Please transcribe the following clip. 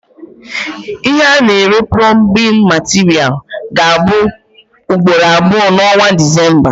Ihe A na- ere plọmbin materials ga abụ ugboro abụọ na onwa December